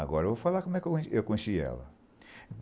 Agora eu vou falar como é que eu eu conheci ela.